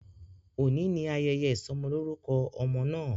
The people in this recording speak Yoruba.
Oni ni ayẹyẹ isọmọlorukọ ọmọ naa.